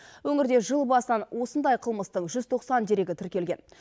өңірде жыл басынан осындай қылмыстың жүз тоқсан дерегі тіркелген